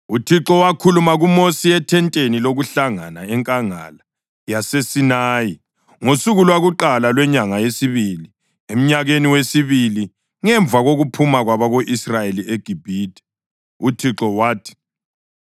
UThixo wakhuluma kuMosi ethenteni lokuhlangana enkangala yaseSinayi ngosuku lwakuqala lwenyanga yesibili emnyakeni wesibili ngemva kokuphuma kwabako-Israyeli eGibhithe. UThixo wathi,